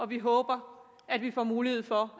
vi håber at vi får mulighed for